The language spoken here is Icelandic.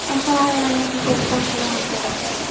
En þá hefði hann ekki getað dansað við Halldóru